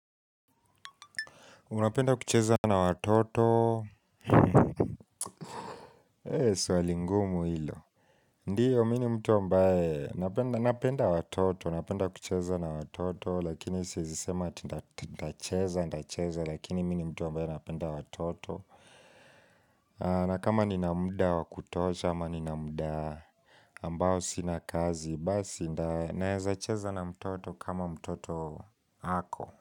Unapenda kucheza na watoto eeh swali ngumu hilo Ndio, mimi ni mtu ambaye napenda watoto Napenda kucheza na watoto Lakini siizisema ntacheza ntacheza Lakini mimi ni mtu ambaye napenda watoto Nakama ninamda wakutosha ama ninamda ambao sina kazi Basi, nda naeza cheza na mtoto kama mtoto ako.